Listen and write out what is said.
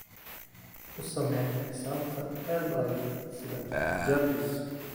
u samee xisaabta aad u adag sida jarvis